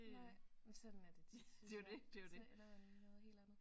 Nej men sådan er det tit så ender man med noget helt andet